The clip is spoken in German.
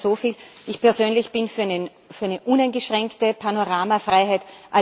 Ich sage da nur so viel Ich persönlich bin für eine uneingeschränkte Panoramafreiheit.